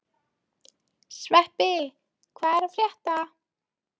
Sveppi, hvað er að frétta?